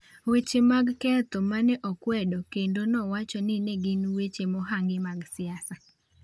Weche mag ketho ma ne okwedo kendo nowacho ni ne gin weche mohangi mag siasa.